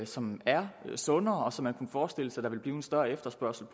som er sundere og som man kunne forestille sig der ville blive en større efterspørgsel